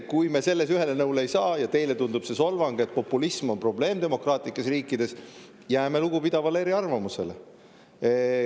Kui me selles ühele nõule ei saa ja teile tundub, et see, et populism on probleem demokraatlikes riikides, on solvang, siis jääme lugupidavale eriarvamusele.